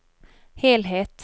helhet